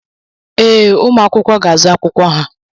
Ee, ụmụ akwụkwọ ga-azụ akwụkwọ ha.